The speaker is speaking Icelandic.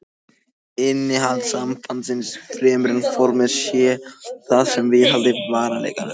Innihald sambandsins, fremur en formið sé það sem viðhaldi varanleikanum.